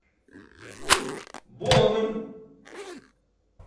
бонн